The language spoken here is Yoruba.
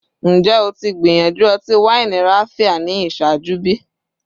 Njẹ o ti gbiyanju ọti-waini Raphia ni iṣaaju bi?